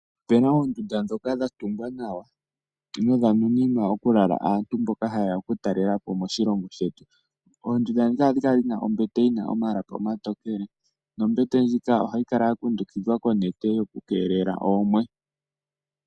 Ope na oondunda ndhoka dhatungwa nawa dha nuninwa aantu mboka ha yeya okutalela po moshilongo shetu. Ohadhi kala dhina ombete yina omalapi omatokele nombete ndjika ohayi kala ya kundukidhwa konete yokukeelela oomwe.